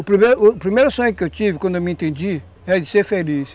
O primeiro, o primeiro sonho que eu tive, quando eu me entendi, é de ser feliz.